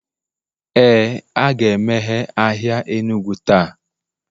Ee, a ga-emeghe ahịa enugu taa